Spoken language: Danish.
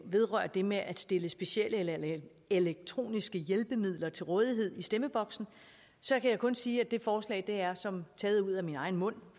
vedrører det med at stille specielle eller elektroniske hjælpemidler til rådighed i stemmeboksen så kan jeg kun sige at det forslag er som taget ud af min egen mund